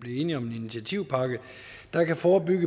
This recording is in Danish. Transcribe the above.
blev enige om en initiativpakke der kan forebygge